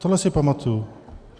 Tohle si pamatuji.